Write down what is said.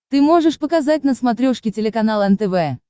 ты можешь показать на смотрешке телеканал нтв